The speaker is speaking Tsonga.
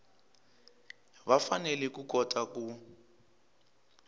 va fanele ku kota ku